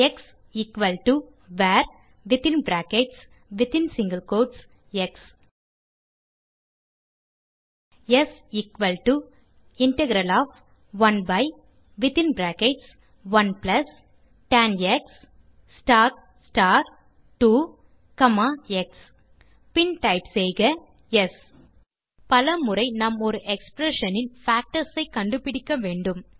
X varஎக்ஸ் ஸ் integral11 2x பின் டைப் செய்க ஸ் பல முறை நாம் ஒரு எக்ஸ்பிரஷன் இன் பேக்டர்ஸ் ஐ கண்டுபிடிக்க வேண்டும்